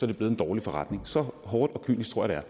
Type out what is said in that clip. det blevet en dårlig forretning så hårdt og kynisk tror jeg